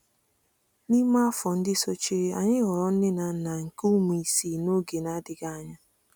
N’ime afọ ndị sochiri, anyị ghọrọ nne na nna nke ụmụ isii n’oge na-adịghị anya.